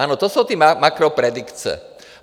Ano, to jsou ty makropredikce.